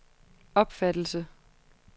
opfattelse